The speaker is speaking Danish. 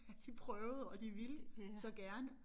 At de prøvede og de ville så gerne